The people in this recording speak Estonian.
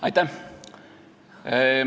Aitäh!